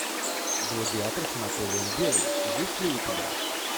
гладиатор с анатолием белый есть ли у тебя